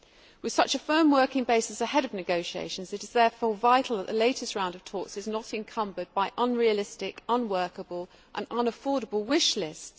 With such a firm working basis ahead of negotiations it is therefore vital that the latest round of talks is not encumbered by unrealistic, unworkable and unaffordable wish lists.